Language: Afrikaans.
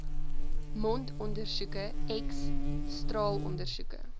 mondondersoeke x straalondersoeke